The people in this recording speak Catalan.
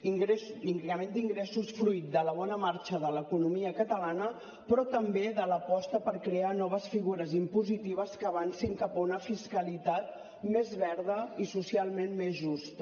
increment d’ingressos fruit de la bona marxa de l’economia catalana però també de l’aposta per crear noves figures impositives que avancin cap a una fiscalitat més verda i socialment més justa